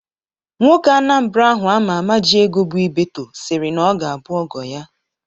Nwoke Anambra ahụ ama ama ji ego bụ Ibeto sịrị na ọ ga-abụ ọgọ ya.